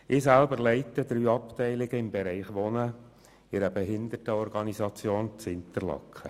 Ich selber leite drei Abteilungen im Bereich Wohnen in einer Behindertenorganisation in Interlaken.